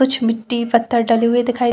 कुछ मिट्टी पत्थर डले हुए दिखाई--